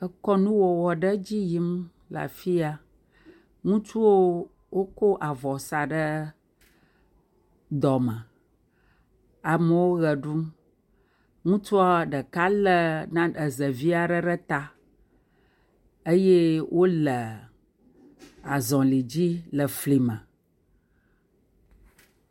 Ekɔnuwɔwɔ ɖe dzi yim le afia. Ŋutsuwo, wokɔ avɔ sa ɖe dɔme. amewo ʋe ɖum. Ŋutsua ɖeka lé na, ezevi arɛ ɖe ta eye wole azɔli dzi le fli me.